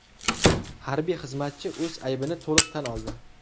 Harbiy xizmatchi o‘z aybini to‘liq tan oldi.